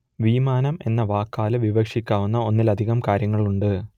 വിമാനം എന്ന വാക്കാൽ വിവക്ഷിക്കാവുന്ന ഒന്നിലധികം കാര്യങ്ങളുണ്ട്